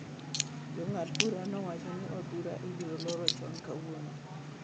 Jang'ad-bura nowacho ni od bura ibiro loro chon kawuono.